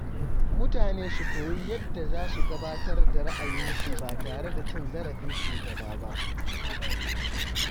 Mutane su koyi yadda za su gabatar da ra’ayinsu ba tare da cin zarafin shugaba ba.